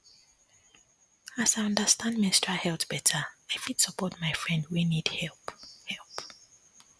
as i understand menstrual health better i fit support my friend wey need help help